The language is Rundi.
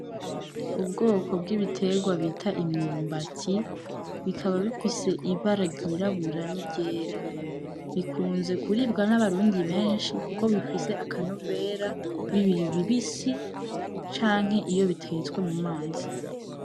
Ubwoko bw'ibiterwa bita imyumbati bikaba bifise ibara ryirabura ni ryera bikunze kuribwa na barundi benshi kuko bifise akanovera bikiri bibisi canke iyo bitetswe mu mazi.